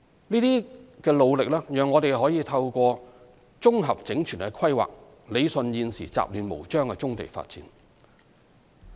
這些努力讓我們可透過綜合整全的規劃，理順現時雜亂無章的棕地發展。